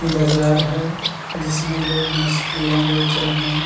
बाजार हैं जिसमे लोग मछलियाँ बेच रहे हैं।